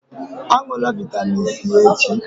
Á ṅụlà vitamin c echi!